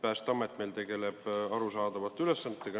Päästeamet tegeleb arusaadavate ülesannetega.